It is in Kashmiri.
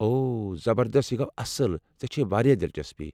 اوہ زبردست، یہِ گو اصٕل ، ژےٚ چھیہ واریاہ دَلچسپییہِ ۔